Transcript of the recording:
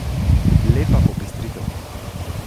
Lepa popestritev.